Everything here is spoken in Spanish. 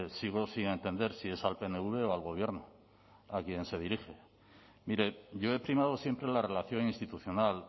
sigo sin entender si es al pnv o al gobierno a quién se dirige mire yo he primado siempre la relación institucional